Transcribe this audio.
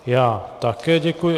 Já také děkuji.